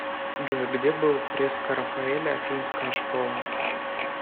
джой где был фреска рафаэля афинская школа